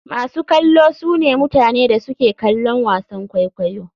Masu kallo sune mutane da suke kallon wasan kwaikwayo.